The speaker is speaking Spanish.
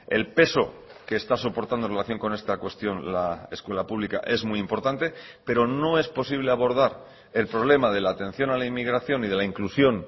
el peso que está soportando en relación con esta cuestión la escuela pública es muy importante pero no es posible abordar el problema de la atención a la inmigración y de la inclusión